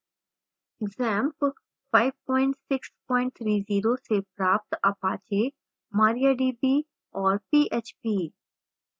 xampp 5630 से प्राप्त apache mariadb और php